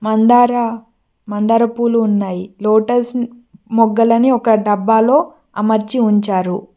మందార మందార పూలు ఉన్నాయి లోటస్ మొగ్గలని ఒక డబ్బాలో అమర్చి ఉంచారు.